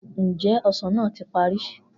Njẹ osan naa ti pari?